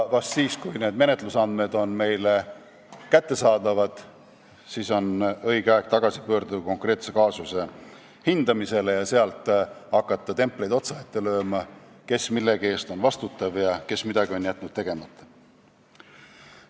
Vahest siis, kui need menetlusandmed on meile kättesaadavad, on õige aeg tagasi pöörduda konkreetse kaasuse hindamise juurde ja hakata templeid otsa ette lööma, kes mille eest on vastutav ja kes on midagi tegemata jätnud.